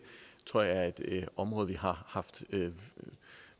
tror jeg er et område vi har haft